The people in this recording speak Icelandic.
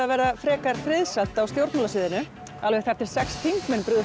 verða frekar friðsamt á stjórnmálasviðinu alveg þar til sex þingmenn brugðu